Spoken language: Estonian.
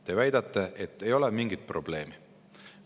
Te väidate, et ei ole mingit probleemi.